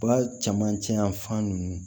Ba camancɛ yan fan ninnu